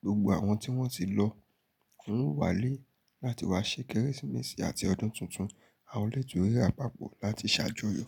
gbogbo àwọn tí wọ́n ti lọ won o wá lé láti wá ṣé Kérésìmesì àti ọdún tuntun. Àwọn ilé ìtura papọ̀ láti ṣàjọyọ̀.